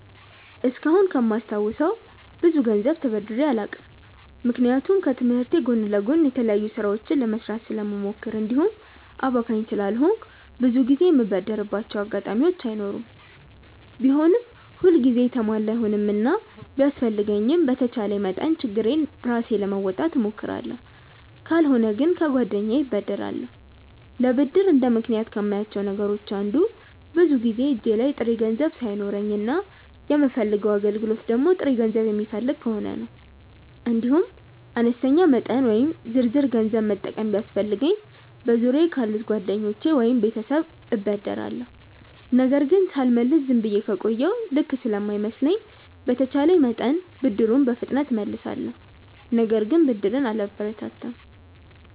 እስካሁን እስከማስታውሰው ብዙ ገንዘብ ተበድሬ አላውቅም። ምክንያቱም ከትምህርቴ ጎን ለጎን የተለያዩ ስራዎችን ለመስራት ስለምሞክር እንዲሁም አባካኝ ስላልሆንኩ ብዙ ጊዜ የምበደርባቸው አጋጣሚዎች አይኖሩም። ቢሆንም ሁል ጊዜ የተሟላ አይሆንምና ቢያስፈልገኝም በተቻለኝ መጠን ችግሬን ራሴ ለመወጣት እሞክራለሁ። ካልሆነ ግን ከጓደኛዬ እበደራለሁ። ለብድር እንደ ምክንያት ከማያቸው ነገሮች አንዱ ብዙውን ጊዜ እጄ ላይ ጥሬ ገንዘብ ሳይኖረኝ እና የምፈልገው አገልግሎት ደግሞ ጥሬ ገንዘብ የሚፈልግ ከሆነ ነው። እንዲሁም አነስተኛ መጠን ወይም ዝርዝር ገንዘብ መጠቀም ቢያስፈልገኝ በዙሪያየ ካሉ ጓደኞቼ ወይም ቤተሰብ እበደራለሁ። ነገር ግን ሳልመልስ ዝም ብዬ ከቆየሁ ልክ ስለማይመስለኝ በተቼለኝ መጠን ብድሩን በፍጥነት እመልሳለሁ። ነገር ግን ብድርን አላበረታታም።